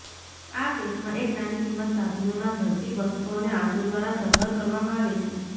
આ કેસમાં એક નાની કિંમત સાધનોના ઝડપી વસ્ત્રો અને આંસુ દ્વારા સરભર કરવામાં આવે છે